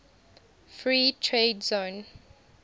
free trade zone